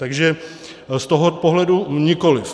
Takže z toho pohledu nikoliv.